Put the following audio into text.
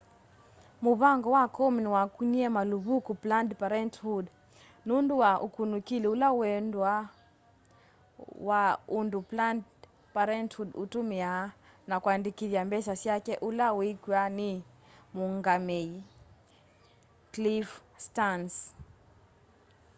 mũvango wa komen wakunie maluvuku planned parenthood nundu wa ukunikili ula wuendeeye wa undũ planned parenthood itumiaa na kũandikithya mbesa syake ula wiikwa ni muungamei cliff stearns